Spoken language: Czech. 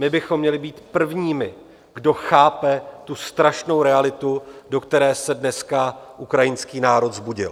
My bychom měli být prvními, kdo chápe tu strašnou realitu, do které se dneska ukrajinský národ vzbudil.